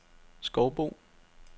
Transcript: Skovbo